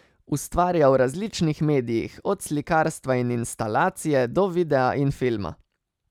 Ustvarja v različnih medijih, od slikarstva in instalacije, do videa in filma.